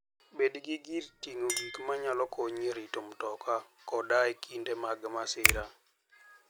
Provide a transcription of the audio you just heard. Bed gi gir ting'o gik manyalo konyi e rito mtoka koda e kinde mag masira.